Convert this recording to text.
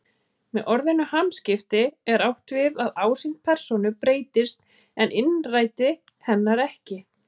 Með orðinu hamskipti er átt við að ásýnd persónu breytist en innræti hennar ekki.